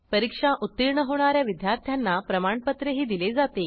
परीक्षा उत्तीर्ण होणा या विद्यार्थ्यांना प्रमाणपत्रही दिले जाते